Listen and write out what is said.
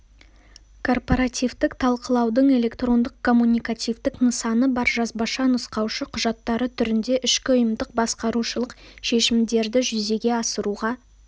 корпоративтік талқылаудың электрондық-коммуникативтік нысаны бар жазбаша нұсқаушы құжаттары түрінде ішкі ұйымдық-басқарушылық шешімдерді жүзеге асыруға